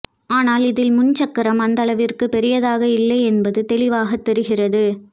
ஆனால் இதில் முன் சக்கரம் அந்த அளவிற்கு பெரியதாக இல்லை என்பது தெளிவாக தெரிகிறது